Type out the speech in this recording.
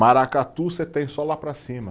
Maracatu você tem só lá para cima.